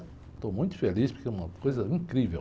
Estou muito feliz porque é uma coisa incrível.